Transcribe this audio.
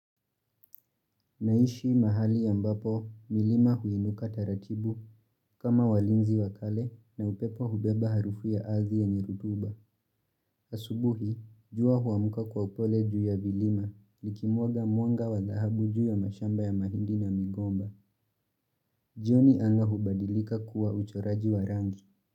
Naishi mahali ambapo milima huinuka taratibu kama walinzi wakale na upepo hubeba harufu ya ardhi yenye rotuba Asubuhi, jua huamka kwa upole juu ya vilima likimwaga mwanga wa dhahabu juu ya mashamba ya mahindi na migomba. Jioni anga hubadilika kuwa uchoraji wa rangi.